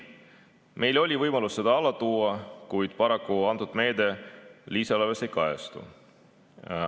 Meil oli võimalus seda alla tuua, kuid paraku antud meede lisaeelarves ei kajastu.